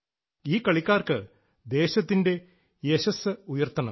ഈ കളിക്കാർക്ക് ദേശത്തിന്റ യശസ്സ് ഉയർത്തണം